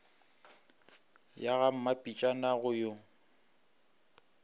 ya ga mmapitšana go yo